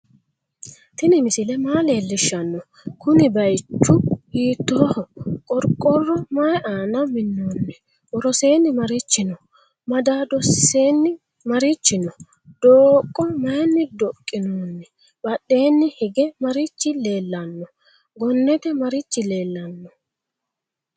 tini misile maa lelishano kuuni bayichu hitoho? qorqoro mayi aana minoni? woroseni marichi no?madadosini marichi no?dooqo mayini doqinoni? badheni hige marichi leelano? gonete marichi leelano?